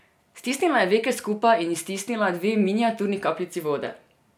Stisnila je veke skupaj in iztisnila dve miniaturni kapljici vode.